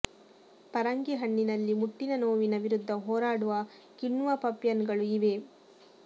ಪರಂಗಿ ಹಣ್ಣಿನಲ್ಲಿ ಮುಟ್ಟಿನ ನೋವಿನ ವಿರುದ್ಧ ಹೊರಾಡುವ ಕಿಣ್ವ ಪಪಿಯನ್ ಗಳು ಇವೆ